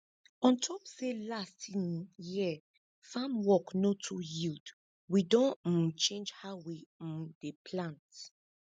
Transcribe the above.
on top say last um year farm work no too yield we don um change how we um dey plant